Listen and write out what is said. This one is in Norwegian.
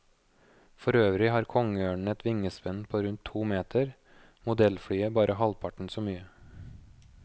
For øvrig har kongeørnen et vingespenn på rundt to meter, modellflyet bare halvparten så mye.